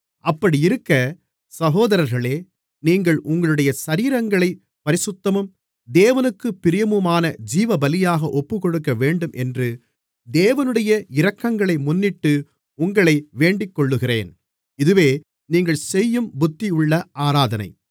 அப்படியிருக்க சகோதரர்களே நீங்கள் உங்களுடைய சரீரங்களைப் பரிசுத்தமும் தேவனுக்குப் பிரியமுமான ஜீவபலியாக ஒப்புக்கொடுக்கவேண்டும் என்று தேவனுடைய இரக்கங்களை முன்னிட்டு உங்களை வேண்டிக்கொள்ளுகிறேன் இதுவே நீங்கள் செய்யும் புத்தியுள்ள ஆராதனை